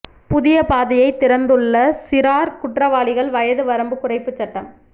புதிய பாதையை திறந்துள்ள சிறார் குற்றவாளிகள் வயது வரம்பு குறைப்பு சட்டம்